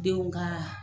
Denw ka